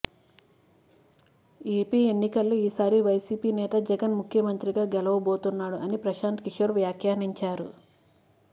AP ఎన్నికల్లో ఈసారి YCP నేత జగన్ ముఖ్యమంత్రి గా గెలువబోతున్నాడు అని ప్రశాంత్ కిషోర్ వ్యాఖ్యానించారు